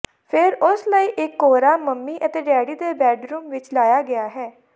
ਫਿਰ ਉਸ ਲਈ ਇਕ ਕੋਹਰਾ ਮੰਮੀ ਅਤੇ ਡੈਡੀ ਦੇ ਬੈਡਰੂਮ ਵਿਚ ਲਾਇਆ ਗਿਆ ਹੈ